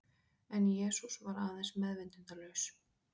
En Jesús var aðeins meðvitundarlaus.